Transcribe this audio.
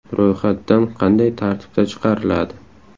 Ro‘yxat dan qanday tartibda chiqariladi?